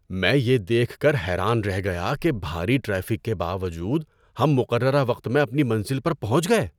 میں یہ دیکھ کر حیران رہ گیا کہ بھاری ٹریفک کے باوجود ہم مقررہ وقت میں اپنی منزل پر پہنچ گئے!